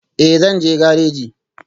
Ee, zan je gareji